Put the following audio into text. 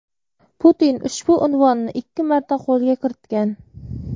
Putin ushbu unvonni ikki marta qo‘lga kiritgan.